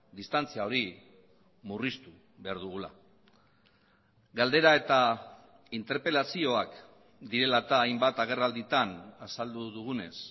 distantzia hori murriztu behar dugula galdera eta interpelazioak direla eta hainbat agerralditan azaldu dugunez